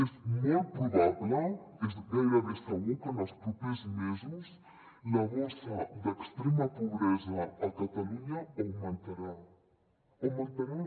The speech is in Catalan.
és molt probable és gairebé segur que en els propers mesos la bossa d’extrema pobresa a catalunya augmentarà augmentarà